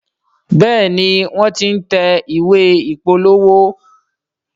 Béèni wón t'in tẹ̀ ìwé ìpolówó.